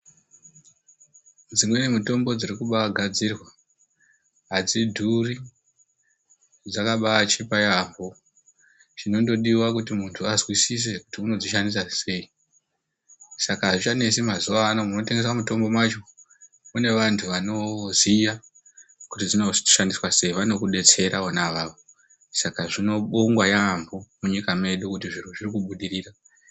Dzimweni mitombo dzirikumba gadzirwa adzidhuri, dzakabachipa yaambo. Chinondodiwa kuti muntu azwisise kuti unodzishandisa sei. Saka azvichanesi mazuwano ngekuti munotengeswa mutombo mwacho mune vantu vanoziya kuti dzinoshandiswa sei. Vanokudetsera vona avavo. Saka zvinobongwa yaambo kuti munyika mwedu zviro zviri kubudirira.